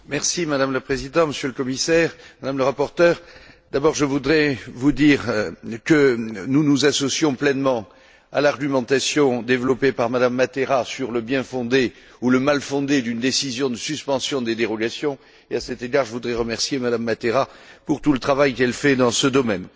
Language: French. Madame la Présidente, Monsieur le Commissaire, Madame la rapporteure, je voudrais d'abord vous dire que nous nous associons pleinement à l'argumentation développée par Mme Matera sur le bien fondé ou le mal fondé d'une décision de suspension des dérogations et, à cet égard, je voudrais remercier Mme Matera pour tout le travail qu'elle fait dans ce domaine.